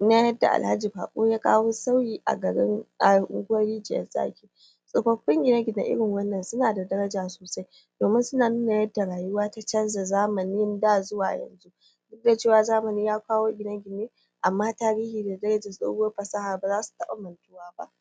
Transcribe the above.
na yadda alhaji baƙo ya kawo sauyi a garin a unguwar rijiyar zaki tsofaffin gine gine irin wannan suna da daraja sosai domin suna nuna yadda rayuwa ta canza zamanin da zuwa yau dukda cewa zamani ya kawo gine-gine amma tarihi ba mai baiyanar da tsohuwar fasaha bazasu taɓa